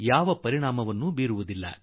ಮತ್ತು ಈ ಔಷಧಿಗಳು ಈ ಜೀವಾಣುಗಳಿಗೆ ನಿಶ